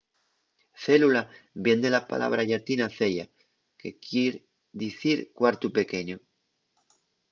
célula vien de la pallabra llatina cella que quier dicir cuartu pequeñu